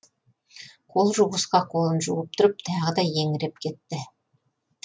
қолжуғышқа қолын жуып тұрып тағы да еңіреп кетті